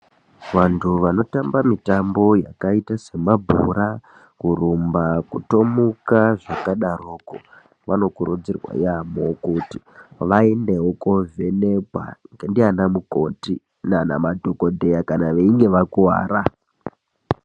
Vandu vanotamba mitambo yakaite semabhora, kurumba, kutomuka zvakadaroko vanokurudzirwa yamho kuti vaendewo kunovhenekwa ndianamukoti nemadhokoteya nanamukoti kana veinge vakuwara